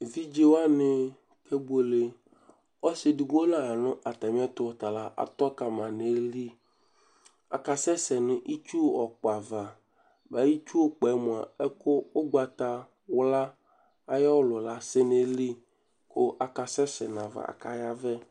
Evidze waní kebuele Ɔsi eɖigbo la ya nu atami ɛtu Ɔtala atɔ kamã nu iɣilíh Aka sɛsɛ nu itsúh ɔkpɔ ãvã Mɛ itsuɛkpo yɛ mua, ɛku ugbatawlã ayɔ ɔlù la asɛ nu ayili ku aka sɛsɛ nu ayava, aka yavɛ